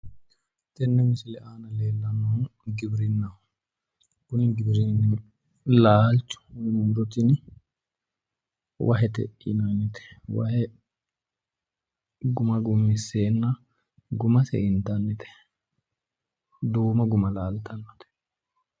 Tenne misile aana leellannohu giwirinnaho tini giwirinnu laalcho muro tini wahete tini wahe guma gummisseenna guma haa'ne intannite iseno duumo guma laaltannote.